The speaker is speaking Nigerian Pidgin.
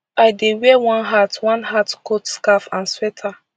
i dey wear one hat one hat coat scarf and sweater